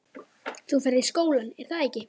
Þú ferð í skólann, er að ekki?